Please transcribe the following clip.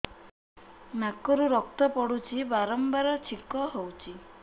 ନାକରୁ ରକ୍ତ ପଡୁଛି ବାରମ୍ବାର ଛିଙ୍କ ହଉଚି